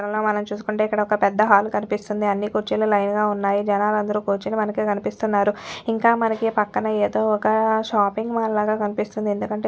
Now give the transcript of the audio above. ఇక్కడున్న మనం చూసుకుంటే ఇక్కడ ఒక్క పెద్ద హాల్ కనిపిస్తుంది అన్ని కుర్చీలు లైన్ గా ఉన్నాయి జనాలందరూ కుర్చొని మనకి కనిపిస్తున్నారు ఇంకా మనకి పక్కన ఏదో ఒక్క షాపింగ్ మాల్ లాగా కనిపిస్తుంది ఎందుకంటే --